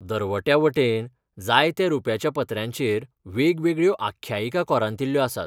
दरवट्या वटेन जायत्या रुप्याच्या पत्र्यांचेर वेगवेगळ्यो आख्यायिका कोरांतिल्ल्यो आसात.